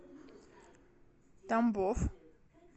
тамбов